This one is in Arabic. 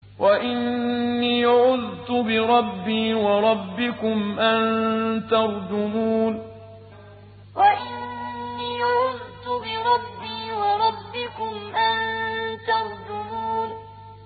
وَإِنِّي عُذْتُ بِرَبِّي وَرَبِّكُمْ أَن تَرْجُمُونِ وَإِنِّي عُذْتُ بِرَبِّي وَرَبِّكُمْ أَن تَرْجُمُونِ